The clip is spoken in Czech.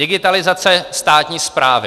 Digitalizace státní správy.